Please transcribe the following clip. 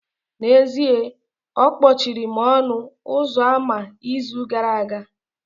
N'ezie, akpọchiri m ọnụ ụzọ ámá n'izu gara aga